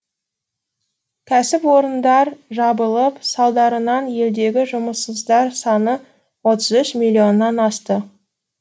кәсіпорындар жабылып салдарынан елдегі жұмыссыздар саны отыз үш миллионнан асты